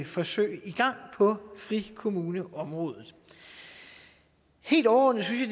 forsøg i gang på frikommuneområdet helt overordnet synes